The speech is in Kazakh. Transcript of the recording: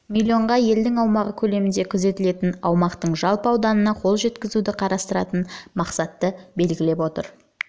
миллион га елдің аумағы көлеміндегі күзетілетін аумақтың жалпы ауданына қол жеткізуді қарастыратын мақсатты белгілеп отыр